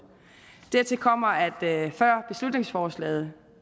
dertil kommer at før beslutningsforslaget